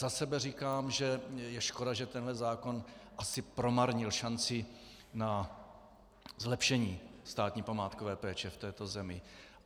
Za sebe říkám, že je škoda, že tenhle zákon asi promarnil šanci na zlepšení státní památkové péče v této zemi.